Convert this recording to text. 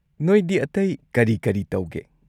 ꯅꯣꯏꯗꯤ ꯑꯇꯩ ꯀꯔꯤ-ꯀꯔꯤ ꯇꯧꯒꯦ?